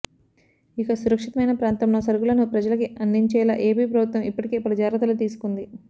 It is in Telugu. ఇక సురక్షితమైన ప్రాంతంలో సరుకులను ప్రజలకి అందించేలా ఏపీ ప్రభుత్వం ఇప్పటికే పలు జాగ్రత్తలు తీసుకుంది